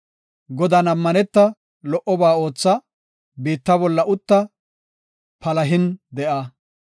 Godan ammaneta; lo77oba ootha; biitta bolla utta; palahin de7a.